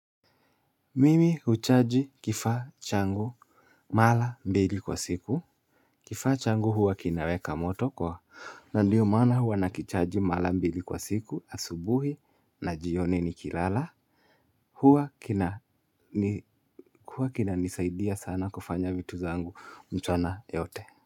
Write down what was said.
Mimi huchaji kifaa changu mala mbili kwa siku. Kifaa changu huwa kinaweka moto kwa na ndiyo maana huwa nakichaji mala mbili kwa siku asubuhi na jioni nikilala. Huwa kinanisaidia sana kufanya vitu zangu mchana yote.